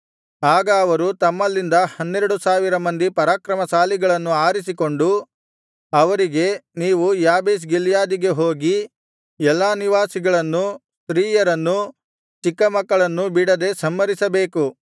ಆಗ ಅವರು ತಮ್ಮಲ್ಲಿಂದ ಹನ್ನೆರಡು ಸಾವಿರ ಮಂದಿ ಪರಾಕ್ರಮಶಾಲಿಗಳನ್ನು ಆರಿಸಿಕೊಂಡು ಅವರಿಗೆ ನೀವು ಯಾಬೇಷ್ ಗಿಲ್ಯಾದಿಗೆ ಹೋಗಿ ಎಲ್ಲಾ ನಿವಾಸಿಗಳನ್ನೂ ಸ್ತ್ರೀಯರನ್ನೂ ಚಿಕ್ಕ ಮಕ್ಕಳನ್ನೂ ಬಿಡದೆ ಸಂಹರಿಸಬೇಕು